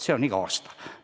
See on igal aastal nii.